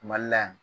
Mali la yan